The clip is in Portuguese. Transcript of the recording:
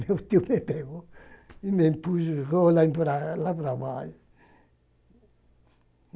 Meu tio me pegou e me empurrou lá para lá para baixo.